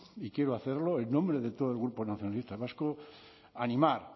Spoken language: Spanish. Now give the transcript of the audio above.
y quiero hacerlo en nombre de todo el grupo nacionalistas vascos animar